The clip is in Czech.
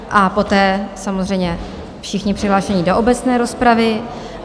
A poté samozřejmě všichni přihlášení do obecné rozpravy.